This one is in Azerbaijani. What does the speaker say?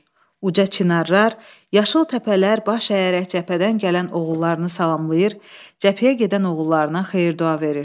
Uca çinarlar, yaşıl təpələr baş əyərək cəbhədən gələn oğullarını salamlayır, cəbhəyə gedən oğullarına xeyir-dua verir.